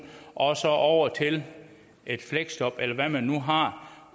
og så over til et fleksjob eller hvad man nu har